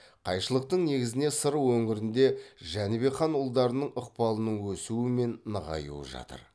қайшылықтың негізіне сыр өңірінде жәнібек хан ұлдарының ықпалының өсуі мен нығаюы жатыр